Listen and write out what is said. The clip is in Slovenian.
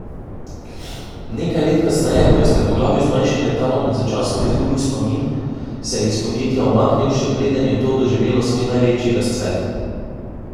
Nekaj let kasneje, ko je strmoglavil z manjšim letalom in začasno izgubil spomin, se je iz podjetja umaknil, še preden je to doživelo svoj največji razcvet.